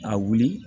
A wuli